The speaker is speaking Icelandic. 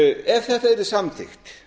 ef þetta yrði samþykkt